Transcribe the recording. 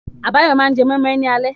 Abayomi máa jẹ moi moi ní alẹ́ yìí.